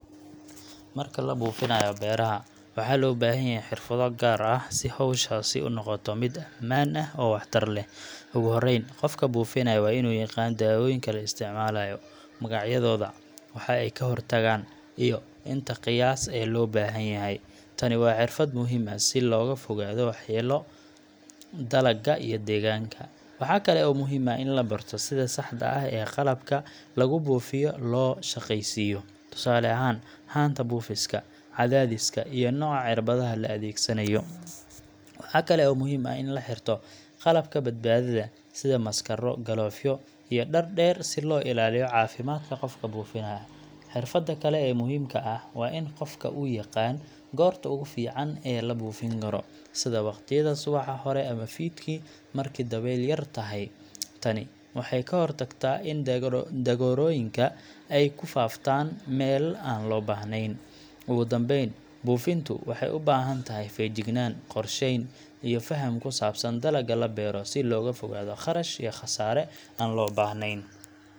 Marka la buufinayo beeraha, waxaa loo baahan yahay xirfado gaar ah si hawshaasi u noqoto mid ammaan ah oo waxtar leh. Ugu horreyn, qofka buufinaya waa inuu yaqaan dawooyinka la isticmaalayo magacyadooda, waxa ay ka hortagaan, iyo inta qiyaas ee loo baahan yahay. Tani waa xirfad muhiim ah si looga fogaado waxyeello dalagga iyo deegaanka. Waxaa kale oo muhiim ah in la barto sida saxda ah ee qalabka lagu buufiyo loo shaqaysiiyo. Tusaale ahaan, haanta buufiska, cadaadiska, iyo nooca cirbadaha la adeegsanayo. Waxaa kale oo muhiim ah in la xirto qalabka badbaadada sida maaskaro, galoofyo, iyo dhar dheer si loo ilaaliyo caafimaadka qofka buufinaya. Xirfadda kale ee muhiimka ah waa in qofka uu yaqaan goorta ugu fiican ee la buufin karo sida waqtiyada subaxa hore ama fiidkii marka dabayl yar tahay. Tani waxay ka hortagtaa in daroogooyinka ay ku faaftaan meel aan loo baahnayn. Ugu dambeyn, buufintu waxay u baahan tahay feejignaan, qorsheyn, iyo faham ku saabsan dalagga la beero si looga fogaado kharash iyo khasaare aan loo baahnayn.